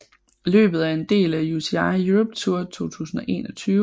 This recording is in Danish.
Løbet er en del af UCI Europe Tour 2021